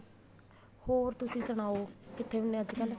ਹੋਰ ਤੁਸੀਂ ਸੁਣਾਉ ਕਿੱਥੇ ਹੁੰਨੇ ਓ ਅੱਜਕਲ